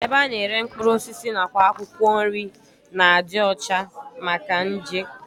Ebe a na-ere mkpụrụ osisi nakwa akwụkwọ nri na-adị ọcha maka nje